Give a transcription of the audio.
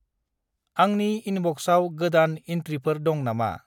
आंनि इनबक्साव गोदान इन्ट्रिफोर दं नामा?